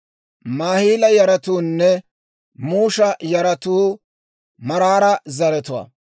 Maahila yaratuunne Musha yaratuu Maraara zaratuwaa.